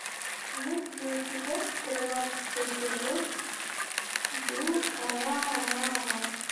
есть ли у тебя тринадцатый эпизод дюрарара